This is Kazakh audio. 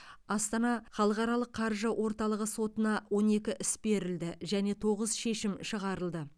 астана халықаралық қаржы орталығы сотына он екі іс берілді және тоғыз шешім шығарылды